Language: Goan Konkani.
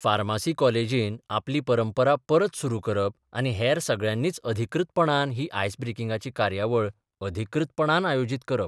फार्मासी कॉलेजीन आपली परंपरा परत सुरू करप आनी हेर सगळ्यांनीच अधिकृतपणान ही आयस ब्रेकिंगाची कार्याबळ अधिकृतपणान आयोजीत करप.